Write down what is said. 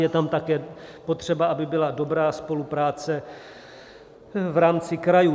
Je tam také potřeba, aby byla dobrá spolupráce v rámci krajů.